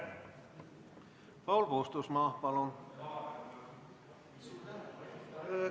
Paul Puustusmaa, palun!